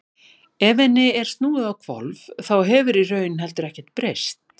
ef henni er snúið á hvolf þá hefur í raun heldur ekkert breyst